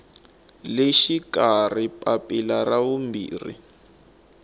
le xikarhi papila ra vumbirhi